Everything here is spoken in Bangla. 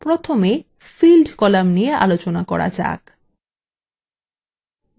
প্রথমে field column নিয়ে আলোচনা করা যাক